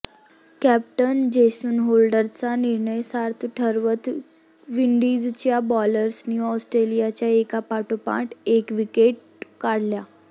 captain Jason होल्डरचा निर्णय सार्थ ठरवत विडींजच्या बॉलर्सनी ऑस्ट्रेलियाच्या एकापाठोपाठ एक विकेट्स काढल्या